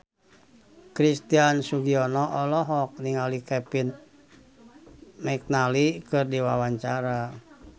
Christian Sugiono olohok ningali Kevin McNally keur diwawancara